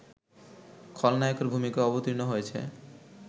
খলনায়কের ভূমিকায় অবতীর্ণ হয়েছে